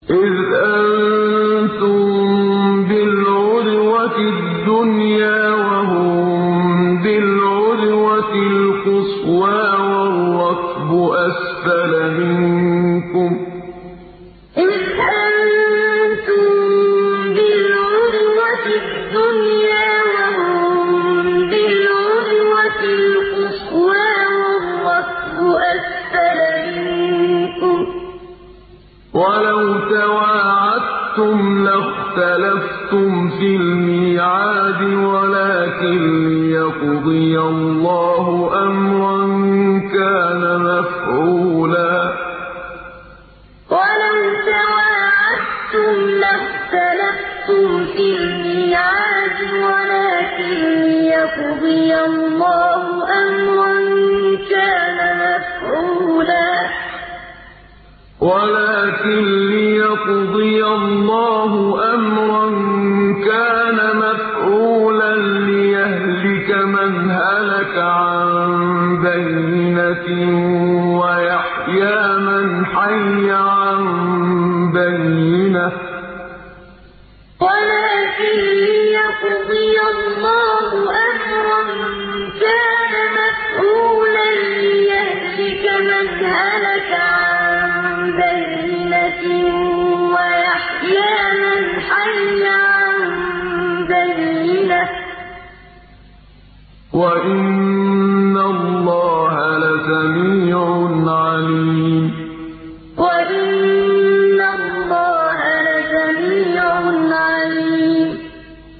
إِذْ أَنتُم بِالْعُدْوَةِ الدُّنْيَا وَهُم بِالْعُدْوَةِ الْقُصْوَىٰ وَالرَّكْبُ أَسْفَلَ مِنكُمْ ۚ وَلَوْ تَوَاعَدتُّمْ لَاخْتَلَفْتُمْ فِي الْمِيعَادِ ۙ وَلَٰكِن لِّيَقْضِيَ اللَّهُ أَمْرًا كَانَ مَفْعُولًا لِّيَهْلِكَ مَنْ هَلَكَ عَن بَيِّنَةٍ وَيَحْيَىٰ مَنْ حَيَّ عَن بَيِّنَةٍ ۗ وَإِنَّ اللَّهَ لَسَمِيعٌ عَلِيمٌ إِذْ أَنتُم بِالْعُدْوَةِ الدُّنْيَا وَهُم بِالْعُدْوَةِ الْقُصْوَىٰ وَالرَّكْبُ أَسْفَلَ مِنكُمْ ۚ وَلَوْ تَوَاعَدتُّمْ لَاخْتَلَفْتُمْ فِي الْمِيعَادِ ۙ وَلَٰكِن لِّيَقْضِيَ اللَّهُ أَمْرًا كَانَ مَفْعُولًا لِّيَهْلِكَ مَنْ هَلَكَ عَن بَيِّنَةٍ وَيَحْيَىٰ مَنْ حَيَّ عَن بَيِّنَةٍ ۗ وَإِنَّ اللَّهَ لَسَمِيعٌ عَلِيمٌ